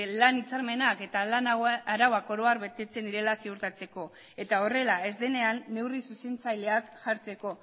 lan hitzarmenak eta lana arauak oro har betetzen direla ziurtatzeko eta horrela ez denean neurri zuzentzaileak jartzeko